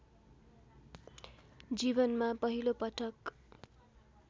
जीवनमा पहिलोपटक